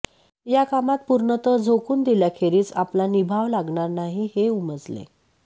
या कामात पूर्णतः झोकून दिल्याखेरीज आपला निभाव लागणार नाही हे उमजले